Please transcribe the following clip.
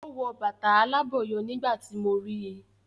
O wọ bàtà alábọ̀yọ nígbà tíì mo rí